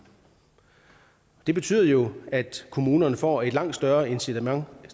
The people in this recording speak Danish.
det betyder jo at kommunerne får et langt større incitament